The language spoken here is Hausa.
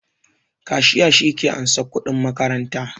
Kashiya shi ke ansan kuɗin makaranta